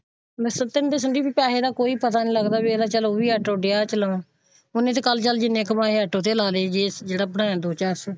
ਮੈਂ ਸੱਚ ਦੱਸਾਂ ਸੰਦੀਪ ਪੈਸੇ ਦਾ ਕੋਈ ਪਤਾ ਨਹੀਂ ਲੱਗਦਾ ਵੀ ਇਹ ਤੇ ਉਹ ਵੀ ਅੱਜ ਤੇ ਲਗਾਉਣ ਉਹਨੇ ਤੇ ਕੱਲ ਜਿੰਨੇ ਕਮਾਏ ਅੱਜ ਉਹ ਤੇ ਲੱਗਾ ਲਾਏ ਜਿਹੜਾ ਬਣਿਆ ਦੋ ਚਾਰ ਸੋ।